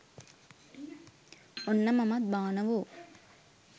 ඔන්න මමත් බානවෝ